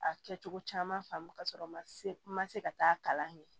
A kɛcogo caman faamu ka sɔrɔ n ma se n ma se ka taa kalan kɛ